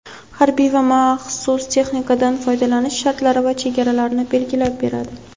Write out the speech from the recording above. harbiy va maxsus texnikadan foydalanish shartlari va chegaralarini belgilab beradi.